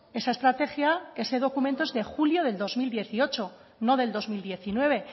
esa estrategia ese documento es de julio del dos mil dieciocho no del dos mil diecinueve